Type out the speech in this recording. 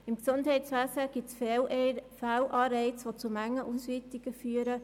Im Gesundheitswesen gibt es Fehlanreize, die zu Mengenausweitungen führen.